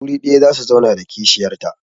Wuri ɗaya za su zauna da kishiyarta.